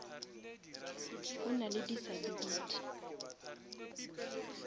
o nale disability